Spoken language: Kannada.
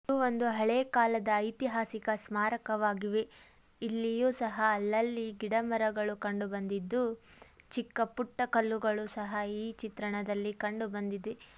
ಒಂದು ಹಳೆ ಕಾಲದ ಐತಿಹಾಸಿಕ ಸ್ಮಾರಕವಾಗಿವೆ. ಇಲ್ಲಿಯೂ ಸಹ ಅಲ್ಲಲ್ಲಿ ಗಿಡ ಮರಗಳು ಕಂಡು ಬಂದಿದ್ದು ಚಿಕ್ಕಪುಟ್ಟ ಕಲ್ಲುಗಳು ಸಹ ಈ ಚಿತ್ರಣದಲ್ಲಿ ಕಂಡು ಬಂದಿದೆ.